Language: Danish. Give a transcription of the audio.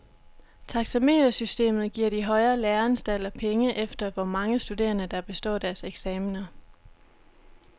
Taxametersystemet giver de højere læreanstalter penge efter, hvor mange studerende, der består deres eksaminer.